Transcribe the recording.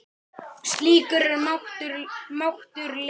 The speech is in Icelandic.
Slíkur er máttur Lenu.